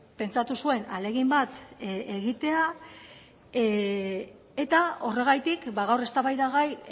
pentsatu zuen ahalegin bat egitea eta horregatik gaur eztabaidagai